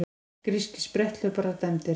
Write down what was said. Grískir spretthlauparar dæmdir